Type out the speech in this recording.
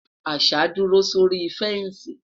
àṣà duro sórí fensi